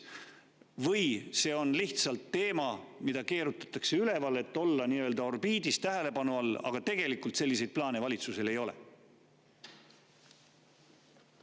Või on see lihtsalt teema, mida keerutatakse üles, et olla nii-öelda orbiidis, tähelepanu all, aga tegelikult valitsusel mingeid selliseid plaane ei ole?